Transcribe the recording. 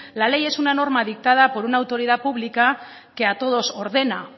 la ley es una norma dictada por una autoridad pública que a todos ordena